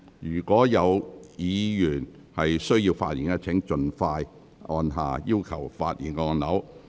有意發言的委員，請盡快按下"要求發言"按鈕。